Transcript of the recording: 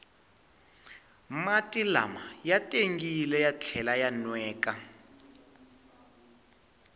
mati lama ya tengile ya tlhela ya nweka